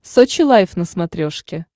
сочи лайф на смотрешке